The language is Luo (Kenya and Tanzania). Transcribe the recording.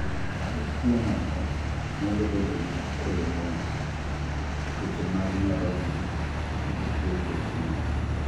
jotuwo moko nyalo bedo gi coloboma, tuoche mag nyarogno gi tuoche chuny